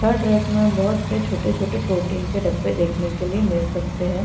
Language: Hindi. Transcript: थर्ड रेक में बहुत से छोटे-छोटे प्रोटीन के डब्बे देखने के लिए मिल सकते हैं।